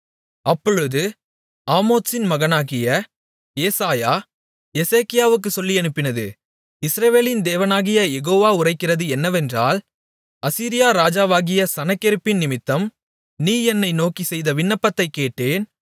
அப்பொழுது ஆமோத்சின் மகனாகிய ஏசாயா எசேக்கியாவுக்குச் சொல்லியனுப்பினது இஸ்ரவேலின் தேவனாகிய யெகோவா உரைக்கிறது என்னவென்றால் அசீரியா ராஜாவாகிய சனகெரிப்பினிமித்தம் நீ என்னை நோக்கிச் செய்த விண்ணப்பத்தைக் கேட்டேன்